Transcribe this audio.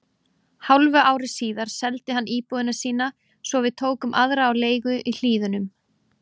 Hálfu ári síðar seldi hann íbúðina sína svo við tókum aðra á leigu í Hlíðunum.